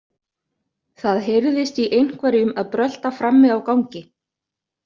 Það heyrðist í einhverjum að brölta frammi á gangi.